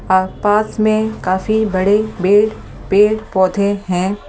आप पास में काफी बड़े बेड़ पेड़ पौधे हैं।